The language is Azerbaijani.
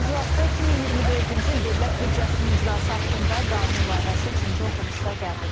İclasda 2024-cü il dövlət büdcəsinin icrası haqqında qanun layihəsi üçüncü oxunuşda qəbul edilib.